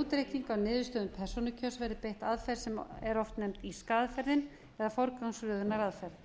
útreikning á niðurstöðum persónukjörs verði beitt aðferð sem er oft nefnd írska aðferðin eða forgangsröðunaraðferð